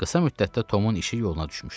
Qısa müddətdə Tomun işi yoluna düşmüşdü.